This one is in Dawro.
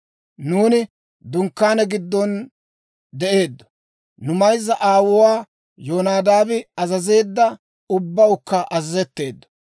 Nuuni dunkkaane giddon de'eeddo; nu mayzza aawuu Yonadaabi azazeedda ubbawukka azazetteeddo.